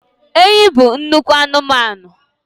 Enyi bụ nnukwu anụmanụ